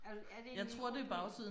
Er du er det en mikrobølgeovn